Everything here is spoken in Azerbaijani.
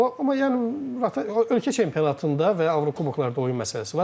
Hə amma yəni ölkə çempionatında və Avrokuboklarda oyun məsələsi var.